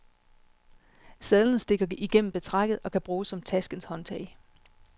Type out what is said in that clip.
Sadlen stikker igennem betrækket, og kan bruges som taskens håndtag.